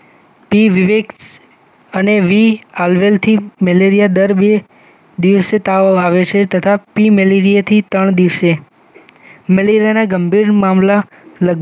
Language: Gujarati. અને મેલેરિયા દર બે દિવસે તાવ આવે છે તથા પી મેલેરિયા થી ત્રણ દિવસે મેલેરિયાના ગંભીર મામલા લગભગ